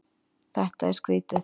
Þetta er skrýtið.